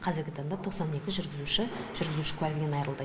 қазіргі таңда тоқсан екі жүргізуші жүргізуші куәлігінен айырылды